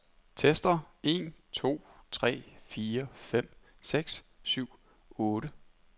Tester en to tre fire fem seks syv otte.